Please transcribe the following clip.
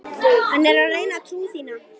Hann er að reyna trú þína.